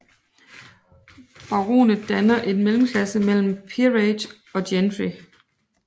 Baronet danner en mellemklasse mellem Peerage og Gentry